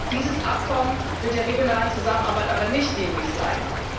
Dieses Abkommen wird der regionalen Zusammenarbeit aber nicht dienlich sein.